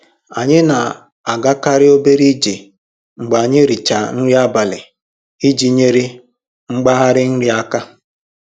Anyị na-agakarị obere ije mgbe anyị richaa nri abalị iji nyere mgbari nri aka.